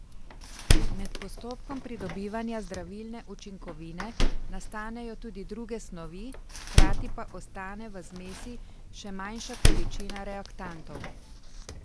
Med postopkom pridobivanja zdravilne učinkovine nastanejo tudi druge snovi, hkrati pa ostane v zmesi še manjša količina reaktantov.